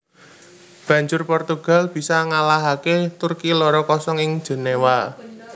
Banjur Portugal bisa ngalahaké Turki loro kosong ing Jenéwa